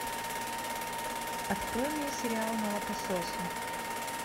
открой мне сериал молокососы